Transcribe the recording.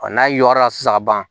Ɔ n'a y'o yɔrɔ la sisan a b'a ban